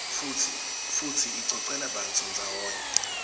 futsi icocela bantfu ndzawonye